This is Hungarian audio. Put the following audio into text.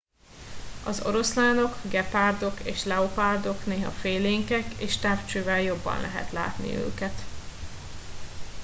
az oroszlánok gepárdok és leopárdok néha félénkek és távcsővel jobban lehet látni őket